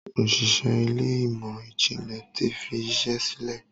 Òṣìṣẹ́ Ilé ìmọ̀n-jinlẹ tí fí iṣé sílè.